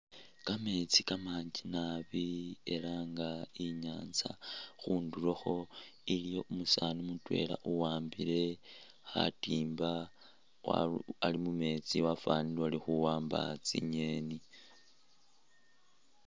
Kameetsi kamanji naabi ela nga inyanza khundulokho iliyo umusaani mutwela uwambile khatimba wa.. ali mumeetsi wafanile uli khuwamba tsingeni